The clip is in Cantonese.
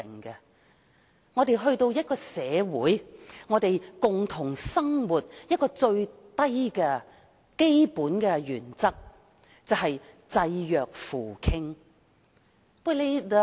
在我們共同生活的社會中，有一個最基本原則是濟弱扶傾。